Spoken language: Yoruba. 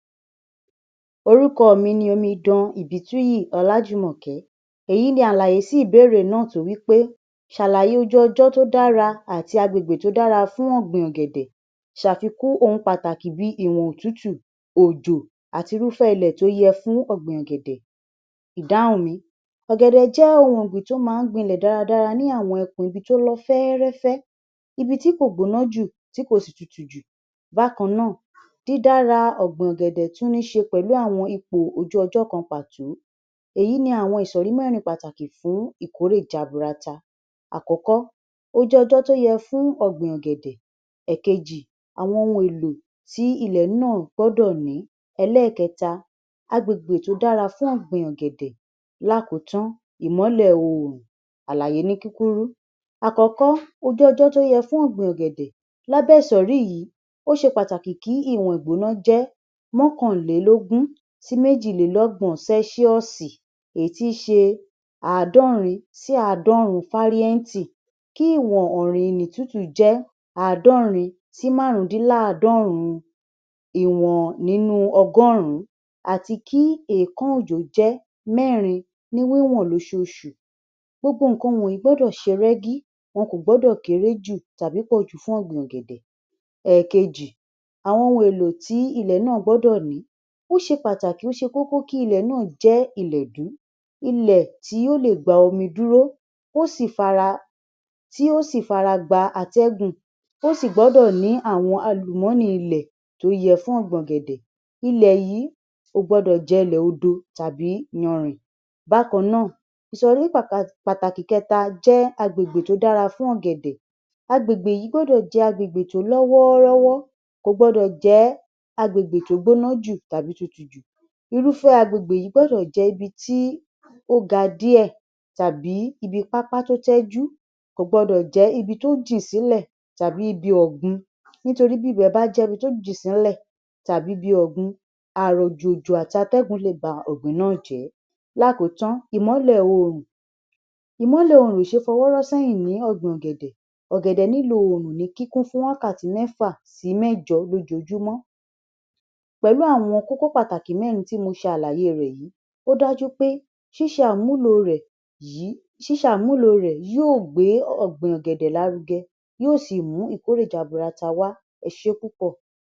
Orúkọ mi ni Ọmọbìnrin Ibitúyì Olájùmọ̀kẹ́. Ẹyin ni àlàyé sí ìbéèrè náà tó wí pé ṣàlàyé ìjọ Ọjọ́tọ́ dára àti àgbègbè tó dára fún ogbìn ògèdè. Ṣàfikún ohun pàtàkì bí ìwọ̀n òtútù, òjò àti irú ilẹ̀ tó yẹ fún ogbìn ògèdè. Ìdáhùn mi: Ògèdè jẹ́ ohun ogbìn tó máa ń gbin lélẹ̀ dáadáa ní àwọn ẹkùn ibi tó lọfẹ́rẹfẹ́. Ibi tí kò gbóná jù tí kò sì tútù jù. Bákan náà, díídàra ogbìn ògèdè tún níṣe pẹ̀lú àwọn ipò ojú-ọjọ kan pàtó. Ẹ̀yí ni àwọn isọrí mẹ́rin pàtàkì fún ìkórè jàbúrátà. Àkọ́kọ́, ojú-ọjọ tó yẹ fún ogbìn ògèdè. Èkejì, àwọn ohun èlò tí ilẹ̀ náà gbọ́dọ̀ ní. Ẹlẹẹkẹta, àgbègbè tó dára fún ogbìn ògèdè. Lákọ̀tán, ìmọ́lẹ̀ oòrùn. Àlàyé ní kíkúrú: Àkọ́kọ́, ojú-ọjọ tó yẹ fún ogbìn ògèdè. Lábé isọrí yìí, ó ṣe pàtàkì kí ìwọ̀n igbóná jẹ́ mọ́kànlélógún sí méjìlélọ́gbọ̀n sẹ́ẹ́sìọ̀sì (°C), etíṣé àádọ́rin sí àádọ́rùn Fahrenheit, kí ìwọ̀n òrùntútù jẹ́ àádọ́rin sí márùndínláàádọ́rún (i.w.n. ọgọ́rún), àti kí ẹ̀ẹ̀kan òjò jẹ́ mẹ́rin ni wẹ̀wẹ̀n lọ́ṣọ́ọ̀ṣù. Gbogbo nǹkan yìí gbọ́dọ̀ ṣọ́rẹgì; wọn kò gbọ́dọ̀ kéré jù tàbí pọ̀jù fún ogbìn ògèdè. Èkejì, àwọn ohun èlò tí ilẹ̀ náà gbọ́dọ̀ ní. Ó ṣe pàtàkì, ó ṣe kókó kí ilẹ̀ náà jẹ́ ilẹ̀ dúdú, ilẹ̀ tí ó lè gba omi dúró, tó sì fara, tó sì fara gbà afẹ́fẹ́. Ó sì gbọ́dọ̀ ní àwọn alúmọ̀nì ilẹ̀ tó yẹ fún ogbìn ògèdè. Ilẹ̀ yìí kò gbọ́dọ̀ jẹ́ ilẹ̀ òdò tàbí yànrìn. Bákan náà, isọrí pàtàkì kẹta ni àgbègbè tó dára fún ògèdè. Àgbègbè yìí gbọ́dọ̀ jẹ́ àgbègbè tí ó lówó àrọ̀wọ̀, kò gbọ́dọ̀ jẹ́ àgbègbè tó gbóná jù tàbí tútù jù. Irú àgbègbè yìí gbọ́dọ̀ jẹ́ ibi tí ó gà díẹ̀ tàbí ibi pàpá tó tẹjú; kò gbọ́dọ̀ jẹ́ ibi tó jí sílẹ̀ tàbí ibi ogbìn, nítorí bí ibẹ̀ bá jẹ́ ibi tó jí sílẹ̀ tàbí ibi ogbìn, àrọ̀, òjò àti afẹ́fẹ́ lè bà ọgbọ́n náà jẹ́. Lákọ̀tán, ìmọ́lẹ̀ oòrùn. Ìmọ́lẹ̀ oòrùn ó ṣe fọwọ́rọ̀ sẹ́hìn ní ogbìn ògèdè. Ògèdè nílò oòrùn ní kíkún fún wákàtí mẹ́fà sí mẹ́jọ lójoojúmọ́. Pẹ̀lú àwọn kókó pàtàkì mẹ́rin tí mo ṣe àlàyé rẹ̀ yìí, ó dájú pé ṣíṣe àmúlò rẹ̀ yìí yóò gbé ogbìn ògèdè lárugẹ, yóò sì mú ìkórè jàbúrátà wá èṣé púpọ̀.